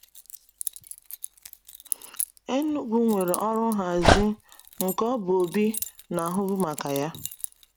Enugu weere ọrụ nhazi nke ọ bụ Obi na-ahụbu maka ya.